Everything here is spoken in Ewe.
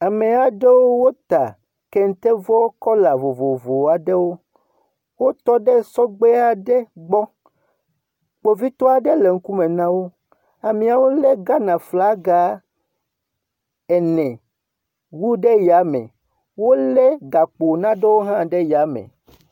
Ame aɖewo wota kente vɔ kɔla vovovo aɖewo. Wotɔ ɖe sɔgbe aɖe gbɔ. Kpovitɔ aɖe le ŋkume na wo. Ameawo lé Ghana flaga ene wu ɖe yame. Wolé gakpo naɖewo hã ɖe yame.